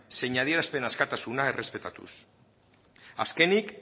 zein adierazpen askatasuna errespetatuz azkenik